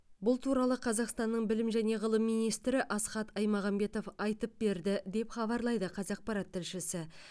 бұл туралы қазақстанның білім және ғылым министрі асхат аймағамбетов айтып берді деп хабарлайды қазақпарат тілшісі